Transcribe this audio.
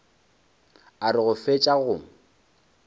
a re go fetša go